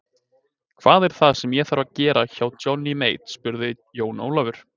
Hvað er það sem ég þarf að gera hjá Johnny Mate spurði Jón Ólafur.